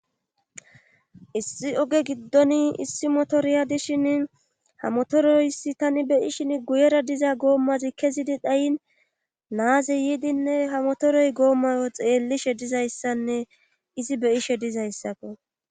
Issi oge giddoni issi motoriya dishin ha motoroyssi tani beyishin guyera diza goommazi kezidi dhayin naaze yiidinne ha motoroy goommayo xeellishe dizayssanne izi beyishe dizayssakko.